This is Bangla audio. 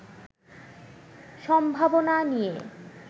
সম্ভাবনা নিয়ে